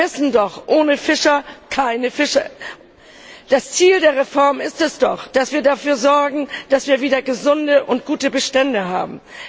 Wir wissen doch Ohne Fischer keine Fische. Das Ziel der Reform ist es doch, dass wir dafür sorgen, dass wir wieder gesunde und gute Bestände haben.